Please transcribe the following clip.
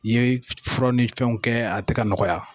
N'i ye fura ni fɛnw kɛ a tɛ ka nɔgɔya.